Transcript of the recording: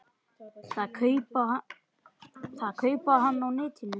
Það kaupi hann á netinu.